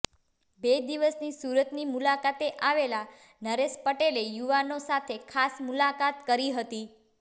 બે દિવસની સુરતની મુલાકાતે આવેલા નરેશ પટેલે યુવાનો સાથે ખાસ મુલાકાત કરી હતી